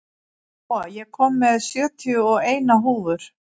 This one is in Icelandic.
Jóa, ég kom með sjötíu og eina húfur!